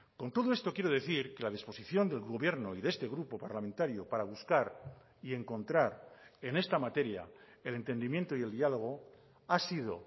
con todo esto quiero decir que la disposición del gobierno y de este grupo parlamentario para buscar y encontrar en esta materia el entendimiento y el diálogo ha sido